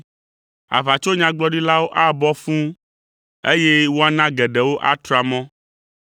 Aʋatsonyagblɔɖilawo abɔ fũu, eye woana geɖewo atra mɔ.